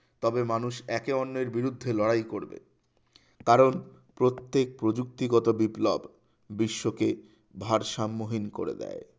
তবে মানুষ একে অন্যের বিরুদ্ধে লড়াই করবে কারণ প্রত্যেক প্রযুক্তিগত বিপ্লব বিশ্বকে ভারসাম্যহীন করে দেয়